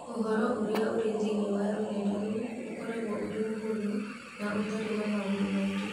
Ũhoro ũrĩa ũrĩ thĩinĩ wa rũrenda rou ũkoragwo ũrĩ mũhũthũ na ũtarĩ na maũndũ maingĩ.